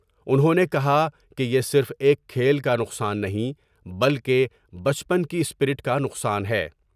انہوں نے کہا کہ یہ صرف ایک کھیل کا نقصان نہیں بلکہ بچپن کی اسپرٹ کا نقصان ہے۔